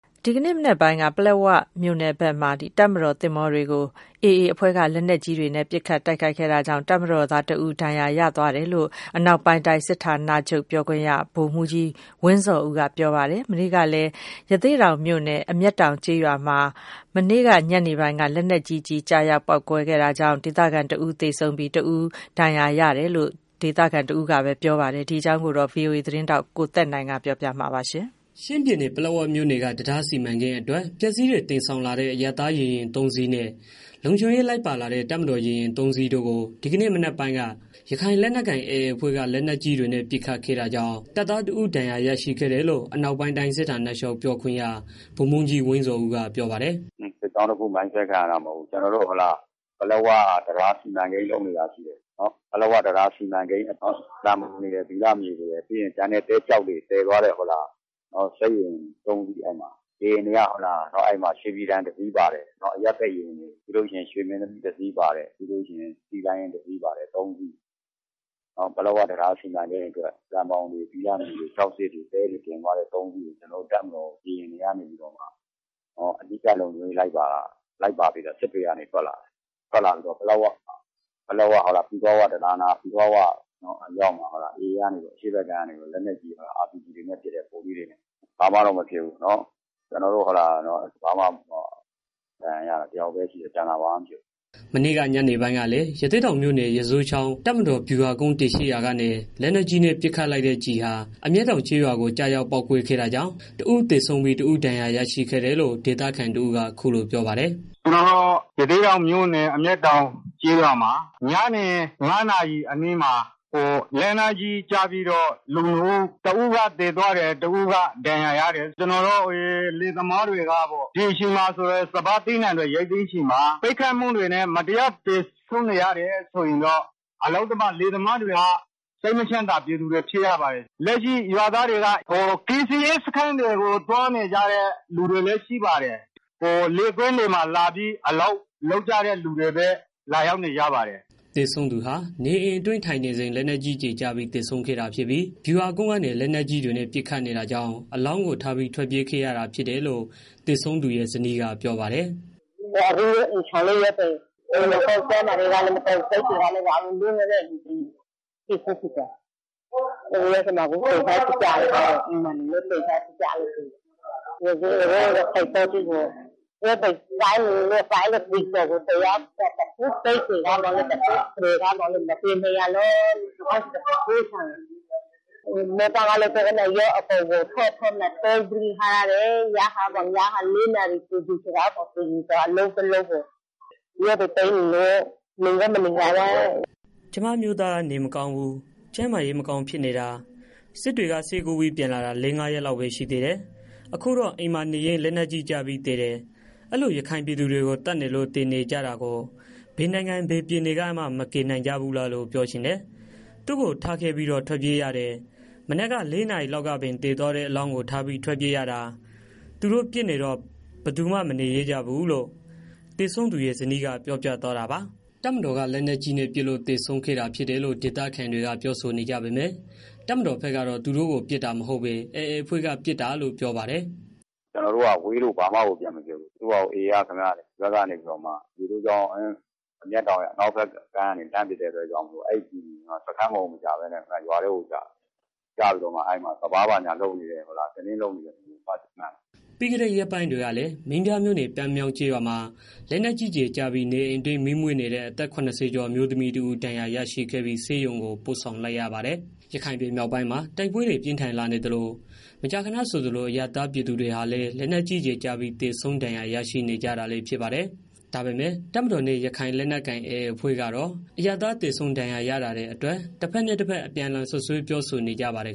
ဒီကနေ့မနက်ပိုင်းက ပလက်ဝမြို့အနီးမှာ တပ်မတော် သင်္ဘောတွေကို AA ရခိုင်လက်နက်ကိုင်အဖွဲ့က လက်နက်ကြီးတွေနဲ့ ပစ်ခတ် တိုက်ခိုက်ခဲ့တာကြောင့် တပ်မတော်သားတစ်ဦး ဒဏ်ရာရရှိခဲ့တယ်လို့ အနောက်ပိုင်းတိုင်းစစ်ဌာနချုပ် ပြောခွင့်ရ ဗိုလ်မှူးကြီး ဝင်းဇော်ဦးက ပြောပါတယ်။ မနေ့ကလည်း ရသေ့တောင်မြို့နယ် အမျက်တောင်ကျေးရွာမှာ လက်နက်ကြီးကျည် ကျရောက်ပေါက်ကွဲခဲ့တာကြောင့် ဒေသခံတစ်ဦး သေဆုံးပြီး တစ်ဦးဒဏ်ရာရရှိခဲ့တယ်လို့ ဒေသခံတွေက ပြောပါတယ်။ ရခိုင်ပြည်နယ်အတွင်းက နောက်ဆုံးရ တိုက်ပွဲသတင်းတွေကို ဗွီအိုအေသတင်းထောက် ကိုသက်နိုင်က စုစည်း တင်ပြပေးထားပါတယ်။ ချင်းပြည်နယ်၊ ပလက်ဝမြို့နယ်က တံတားစီမံကိန်းအတွက် ပစ္စည်းတွေ တင်ဆောင်လာတဲ့ အရပ်သားရေယာဉ် ၃ စီးနဲ့ လုံခြုံရေးလိုက်ပါလာတဲ့ တပ်မတော်ရေယာဉ် ၃စီးတို့ကို ဒီကနေ့ မနက်ပိုင်းက ရခိုင်လက်ကိုင် AA အဖွဲ့က လက်နက်ကြီးတွေနဲ့ ပစ်ခတ်ခဲ့တာကြောင့် တပ်သားတစ်ဦး ဒဏ်ရာရရှိခဲ့တယ်လို့ အနောက်ပိုင်တိုင်း စစ်ဌာနချုပ် ပြောခွင့်ရ ဗိုလ်မှူးကြီး ဝင်းဇော်ဦးက ပြောပါတယ်။ "ကျနော်တို့ ပလက်ဝ စီမံကိန်းတံတားလုပ်နေတာ ရှိတယ်။ ပလက်ဝတံတား စီမံကိန်းအတွက် သံဘောင်တွေရယ်၊ ဘိလပ်မြေတွေရယ်၊ ပြီးရင် ကျန်တဲ့ သဲ၊ ကျောက်တွေ သယ်သွားတဲ့ စစ်ရေယာဉ် သုံးစင်းအဲမှာ ရေယာဉ်တွေက ရွှေပြည်တန် တစ်စီးပါတယ်။ ရွှေမင်းသမီးတစ်စီး ပါတယ်။ ပြီးတော့ နောက်တစ်စီးပါတယ် သုံးစင်း။ ပလက်ဝတံတား စီမံကိန်းအတွက် သံဘောင်တွေ ရယ် ဘိလပ်မြေတွေ ရယ် ပြီးရင် ကျန်တဲ့ သဲ ကျောက်တွေ သယ်သွားတဲ့သုံးစင်းကို ကျနော်တို့ တပ်မတော် ရေယာဉ်က အနီးကပ် လုံခြုံရေး လိုက်ပါပြီးတော့ စစ်တွေကနေ ထွက်လာတာ။ ပလက်ဝ၊ ပီကောက်ဝ တံတားအနီးမှာ AA ကနေပြီးတော့မှ အရှေ့ဖက်ကမ်းက RPG တွေနဲ့ ပစ်တယ်။ လက်နက်ကြီးတွေ၊ ဗုံးတွေနဲ့ ပစ်တယ်။ ဘာမှတော့ မဖြစ်ဘူး၊ ကျနော်တို့ ဒဏ်ရာရတာ တစ်ယောက်ပဲ ရှိတယ်၊ ကျန်တာဘာမှမရှိဘူး။" မနေ့က ညနေပိုင်းကလည်း ရသေ့တောင်မြို့နယ်၊ ရီဇိုးချောင်း တပ်မတော် ဗျုဟာကုန်း တည်ရှိရာကနေ လက်နက်ကြီးနဲ့ ပစ်ခတ်လိုက်တဲ့ ကျည်ဟာ အမျက်တောင် ကျေးရွာကို ကျရောက် ပေါက်ကွဲခဲ့တာကြောင့် တစ်ဦးသေဆုံးပြီး တစ်ဦး ဒဏ်ရာရရှိခဲ့တယ်လို့ ဒေသခံတစ်ဦးက အခုလို ပြောပါတယ်။ "ကျနော်တို့ ရသေ့တောင် မြို့နယ် အမျက်တောင် ကျေးရွာမှာ ညနေ ၅နာရီလောက်မှာ လက်နက်ကြီး ကျပြီးတော့ လူနှစ်ဦး တစ်ဦးသေသွားတယ်၊ တစ်ဦးဒဏ်ရာရသွားတယ်။ ဒီအချိန်မှာ စပါးသီးနှံတွေ ရိုတ်သိမ်းချိန်မှာ ပစ်ခတ်မှုတွေကြောင့် မတရား သေဆုံးနေရတယ်ဆိုရင်တော့ လယ်သမားတွေဟာ စိတ်မချမ်းသာ ပြည်သူတွေ ဖြစ်ရပါတယ်။ လက်ရှိရွာသွားတွေကတော့ ကယ်ဆယ်ရေး စခန်းတွေကို သွားနေကြသူတွေ ရှိတယ်။ လယ်သမားတစ်ချို့ကတော့ လယ်ကွင်းတွေမှာ လာရောက် အလုပ်လုပ်နေကြတဲ့ သူတွေလောက်ပဲရှိတယ်။" သေဆုံးသူဟာ နေအိမ်အတွင်းထိုင်နေစဉ် လက်နက်ကြီးကျည်ကျပြီး သေဆုံးခဲ့တာဖြစ်ပြီး ဗျုးဟာကုန်းကနေ လက်နက်ကြီးတွေနဲ့ ပစ်ခတ်နေတာကြောင့် အလောင်းကိုထားပြီး ထွက်ပြေးခဲ့ရတာဖြစ်တယ်လို့ သေဆုံးသူရဲ့ ဇနီးကပြောပါတယ်။ "ကျမ အမျိုးသားက နေမကောင်းဘူး၊ ကျန်းမာရေး မကောင်းဖြစ်နေတာ။ စစ်တွေက ဆေးကုပြီး ပြန်လာတာ လေးငါးရက်လောက်ပဲ ရှိသေးတယ်။ အခုတော့ အိမ်မှာနေရင်း လက်နက်ကြီးကျပြီး သေတယ်။ အဲလို ရခိုင်ပြည်သူတွေကို သတ်နေလို့ သေကြတာကို ဘယ်နိုင်ငံ၊ ဘယ်ပြည်နယ်ကမှ မကယ်နိုင်ကြဘူးလို့ ပြောချင် တယ်။ သူ့ကို ထားခဲ့ပြီးတော့ ထွက်ပြေးရတယ်။ မနေ့က ၄နာရီလောက်ကပင် သေသွားတဲ့ အလောင်းကို ထားပြီး ထွက်ပြေးရတာ၊ သူတို့ပစ်နေတော့ ဘယ်သူမှ မနေရဲကြဘူး။" တပ်မတော်က လက်နက်ကြီးနဲ့ ပစ်လို့ သေဆုံးခဲ့တာ ဖြစ်တယ်လို့ ဒေသခံတွေက ပြောဆိုနေကြပေမယ့် တပ်မတော်ဖက်ကတော့ သူတို့ပစ်တာမဟုတ်ပဲ AA အဖွဲ့က ပစ်တာလို့ ပြောပါတယ်။ "ကျနော်တို့က ဝေးလို့ ဘာမှကို ပြန်မပစ်ဘူး။ AA ကနေပြီးတော့ ရေဇိုးချောင်း အမျက်တောင် အနောက်ဖက်ကမ်းကနေပြီးတော့ လှမ်းပစ်လိုက်တာကြောင့် အဲကျည်က စခန်းကိုမကျပဲ ရွာထဲကိုကျတယ်။ ကျပြီးတော့မှ အဲဒီမှာ စပါးဘာညာ လုပ်နေတဲ့ လူကို သွားထိတယ်။" ပြီးခဲ့တဲ့ ရက်ပိုင်းတွေကလည်း မင်းပြားမြို့နယ်၊ ပန်းမြောင်းကျေးရွာမှာ လက်နက်ကြီးကျည်ကျပြီး နေအိမ်အတွင်း မီးမွေးနေတဲ့ အသက် ၇၀ကျော် အမျိုးသမီးတစ်ဦး ဒဏ်ရာရရှိခဲ့ပြီ ဆေးရုံကို ပို့ဆောင်လိုက် ရပါတယ်။ ရခိုင်ပြည်မြောက်ပိုင်းမှာ တိုက်ပွဲတွေ ပြင်းထန်လာနေသလို မကြာခဏဆိုသလို အရပ်သားတွေဟာလည်း လက်နက်ကြီးကျည်ကျပြီး သေဆုံး၊ ဒဏ်ရာ ရရှိနေကြတာလည်း ဖြစ်ပါတယ်။ ဒါပေမယ့် တပ်မတော်နဲ့ ရခိုင်လက်နက်ကိုင် AA အဖွဲ့ကတော့ အရပ်သား သေဆုံး၊ ဒဏ်ရာရမှုတွေအတွက် တစ်ဘက်နဲ့ တစ်ဘက် အပြန်အလှန် စွပ်စွဲ ပြောဆိုနေကြပါတယ်